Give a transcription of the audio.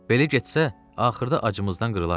Belə getsə, axırda acımızdan qırlarıq.